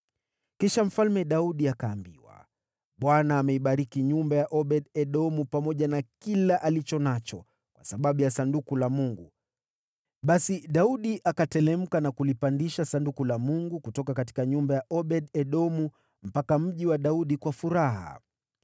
Kisha Mfalme Daudi akaambiwa, “ Bwana ameibariki nyumba ya Obed-Edomu pamoja na kila alicho nacho, kwa sababu ya Sanduku la Mungu.” Basi Daudi akateremka na kulipandisha Sanduku la Mungu kutoka nyumba ya Obed-Edomu hadi Mji wa Daudi kwa shangwe.